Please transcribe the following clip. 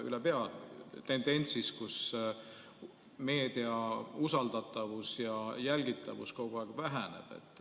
Ülepea on tendents, et meedia usaldatavus ja jälgitavus kogu aeg väheneb.